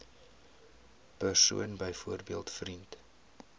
persoon byvoorbeeld vriend